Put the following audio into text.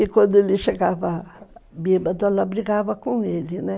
E quando ele chegava bêbado, ela brigava com ele, né?